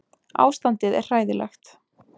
Ástandið er hræðilegt